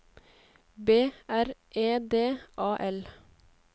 B R E D A L